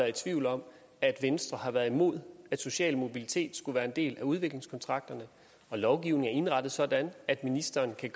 i tvivl om at venstre har været imod at social mobilitet skulle være en del af udviklingskontrakterne og lovgivningen er indrettet sådan at ministeren kan